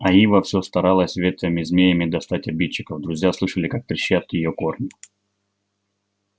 а ива все старалась ветвями-змеями достать обидчиков друзья слышали как трещат её корни